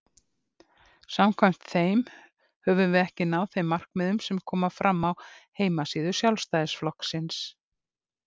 Samkvæmt þeim höfum við ekki náð þeim markmiðum sem koma fram á heimasíðu Sjálfstæðisflokksins.